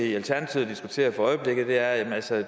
i alternativet diskuterer for øjeblikket altså